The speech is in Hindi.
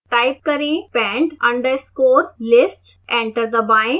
टाइप करें pend underscore list